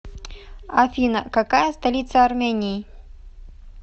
афина какая столица армении